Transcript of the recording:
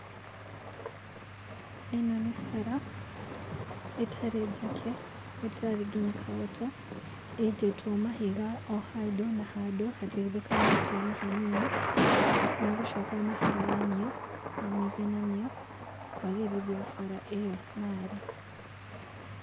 Ĩno nĩ bara, ĩtarĩ njake, ĩtarĩ nginya kagoto, ĩitĩtwo mahiga o handũ na handũ hatigithũkanĩtio na hanini, magũcoka maharaganio, na maigananio, kwagĩrithio bara ĩyo narĩ.